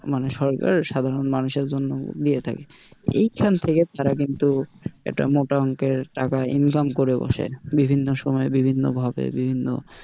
মানে সরকার সাধারণ মানুষের জন্য দিয়ে থাকে, এইখান থেকে তারা কিন্তু একটা মোটা অংকের টাকা income করে বসে বিভিন্ন সময় বিভিন্নভাবে বিভিন্ন,